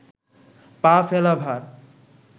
পা ফেলা ভার